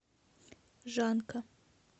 жанка